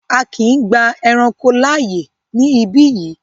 A kíì gba ẹranko láàyè ní ibí yìí!